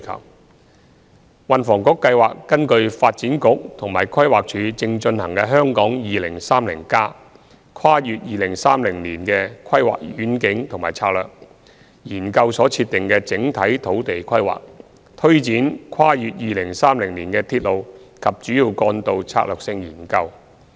三運輸及房屋局計劃根據發展局和規劃署正進行的《香港 2030+： 跨越2030年的規劃遠景與策略》研究所設定的整體土地規劃，推展《跨越2030年的鐵路及主要幹道策略性研究》。